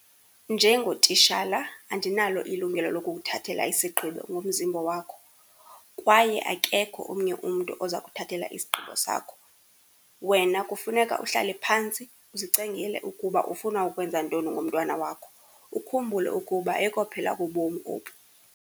Njengotishala andinalo ilungelo lokukuthathela isigqibo ngomzimba wakho, kwaye akekho omnye umntu oza kuthathela isigqibo sakho. Wena kufuneka uhlale phantsi uzicingele ukuba ufuna ukwenza ntoni ngomntwana wakho, ukhumbule ukuba ayikophela kobomi oku.